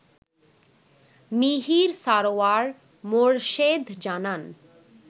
মিহির সারওয়ার মোর্শেদ জানান